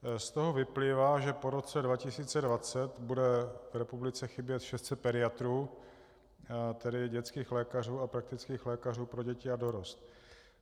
Z toho vyplývá, že po roce 2020 bude v republice chybět 600 pediatrů, tedy dětských lékařů a praktických lékařů pro děti a dorost.